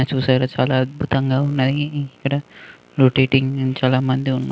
చూశారా చాలా అద్భుతంగా ఉన్నాయి.ఇక్కడ రోటాటింగ్ చాలా మంది ఉన్--